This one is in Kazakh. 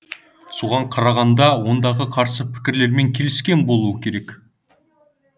соған қарағанда ондағы қарсы пікірлермен келіскен болуы керек